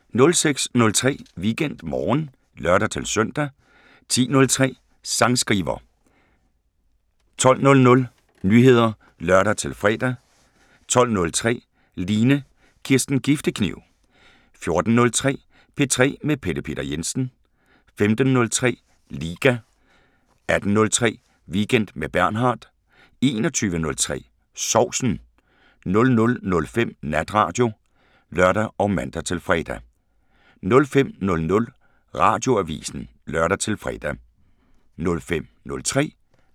06:03: WeekendMorgen (lør-søn) 10:03: Sangskriver 12:00: Nyheder (lør-fre) 12:03: Line Kirsten Giftekniv 14:03: P3 med Pelle Peter Jensen 15:03: Liga 18:03: Weekend med Bernhard 21:03: Sovsen 00:05: Natradio (lør og man-fre) 05:00: Radioavisen (lør-fre)